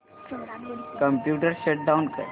computer shut down कर